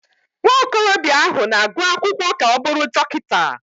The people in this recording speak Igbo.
Nwa okorobịa ahụ na-agụ akwụkwọ ka ọ bụrụ Dọkịta.